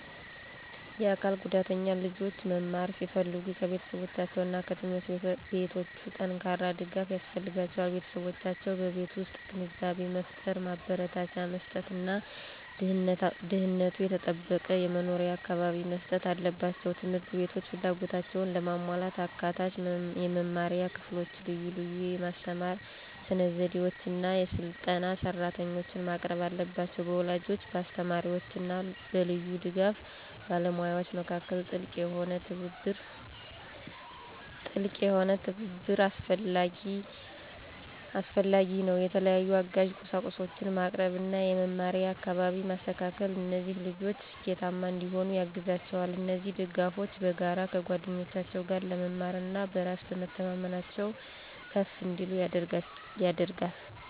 የአካል ጉዳተኛ ልጆች መማር ሲፈልጉ ከቤተሰቦቻቸው እና ከትምህርት ቤቶች ጠንካራ ድጋፍ ያስፈልጋቸዋል። ቤተሰቦቻቸው በቤት ውስጥ ግንዛቤን መፍጠር፣ ማበረታቻ መስጥት እና ደህንነቱ የተጠበቀ የመኖሪያ አካባቢን መስጠት አለባቸው። ት/ቤቶች ፍላጎታቸውን ለማሟላት አካታች የመማሪያ ክፍሎችን፣ ልዩ ልዩ የማስተማር ስነዘዴዎችን እና የሰለጠኑ ሰራተኞችን ማቅረብ አለባቸው። በወላጆች፣ በአስተማሪዎች እና በልዩ ድጋፍ ባለሙያዎች መካከል ጥልቅ የሆነ ትብብር አስፈላጊ ነው። የተለያዩ አጋዥ ቁሳቁሶችን ማቅረብ እና የመማሪያ አካባቢን ማስተካከል እነዚህ ልጆች ስኬታማ እንዲሆኑ ያግዛቸዋል። እነዚህ ድጋፎች በጋራ ከጓደኞቻቸው ጋር ለመማር እና በራስ በመተማመናቸው ከፍ እንዲል ያደርጋል።